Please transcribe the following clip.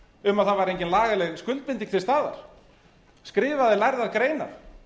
um að það kæmi engin lagaleg skuldbinding til staðar skrifaði lærðar greinar